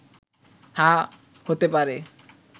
হ্যাঁ, হতে পারে